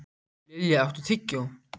Lilja, áttu tyggjó?